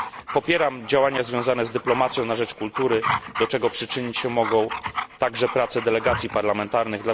Popieram działania dyplomacji na rzecz kultury, do czego przyczynić się mogą także prace delegacji parlamentarnych.